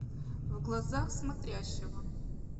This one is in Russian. в глазах смотрящего